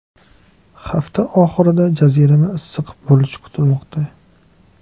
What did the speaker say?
Hafta oxirida jazirama issiq bo‘lishi kutilmoqda.